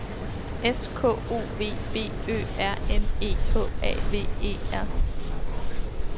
S K O V B Ø R N E H A V E R